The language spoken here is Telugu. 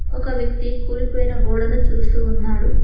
ఒక వ్యక్తి కూలిపోయిన గోడను చూస్తూ ఉన్నాడు.